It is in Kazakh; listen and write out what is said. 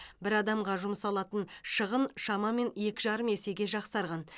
бір адамға жұмсалатын шығын шамамен екі жарым есеге жақсарған